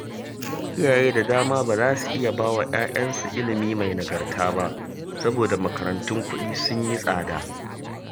Iyaye da dama ba za su iya ba wa 'ya'yansu ilimi mai nagarta saboda makarantun kuɗi sun yi tsada